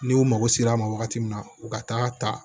N'u mago sera a ma wagati min na u ka taa ta